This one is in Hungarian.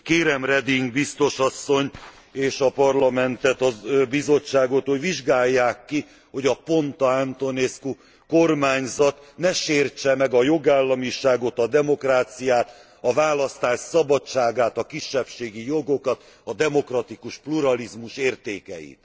Kérem Reding biztos asszonyt és a Parlamentet, a Bizottságot, hogy vizsgálják ki, hogy a Ponta Antonescu kormányzat ne sértse meg a jogállamiságot, a demokráciát, a választás szabadságát, a kisebbségi jogokat, a demokratikus pluralizmus értékeit.